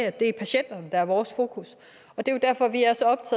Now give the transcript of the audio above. at det er patienterne der er vores fokus